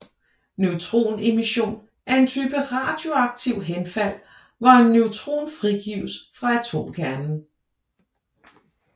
Neutronemission er en type radioaktivt henfald hvor en neutron frigives fra atomkernen